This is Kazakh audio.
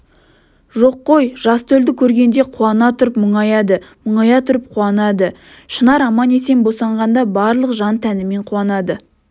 жоқ қой жас төлді көргенде қуана тұрып мұңаяды мұңая тұрып қуанады шынар аман-есен босанғанда барлық жан-тәнімен қуанды